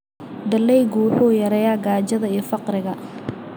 Dalaggu wuxuu yareeyaa gaajada iyo faqriga.